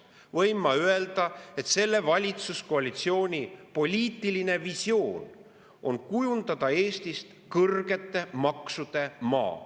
Ma võin öelda, et selle valitsuskoalitsiooni poliitiline visioon on kujundada Eestist kõrgete maksude maa.